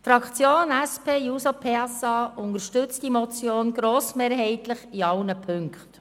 Die SP-JUSO-PSA-Fraktion unterstützt diese Motion grossmehrheitlich in allen Punkten.